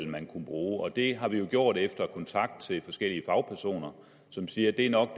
man kunne bruge og det har vi jo gjort efter kontakt til forskellige fagpersoner som siger at det nok